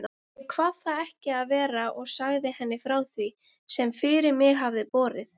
Ég kvað það ekki vera og sagði henni frá því, sem fyrir mig hafði borið.